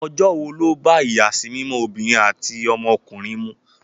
Ọjọ́ wo ló bá ìyàsímímọ́ ọmọbìnrin àti ọmọkùnrin mu?